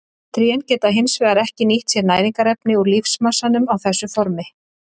Trén geta hins vegar ekki nýtt sér næringarefni úr lífmassanum á þessu formi.